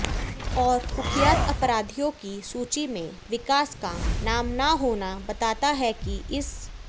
और कुख्यात अपराधियों की सूची में विकास का नाम न होना बताता है कि इस